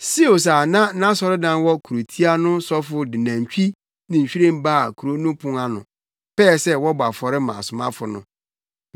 Seus a na nʼasɔredan wɔ kurotia no sɔfo de nantwi ne nhwiren baa kurow no pon ano, pɛɛ sɛ wɔbɔ afɔre ma asomafo no.